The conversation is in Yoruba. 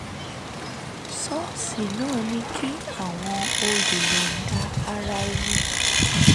ṣọ́ọ̀ṣì náà ní kí àwọn olùyọ̀ǹda ara ẹni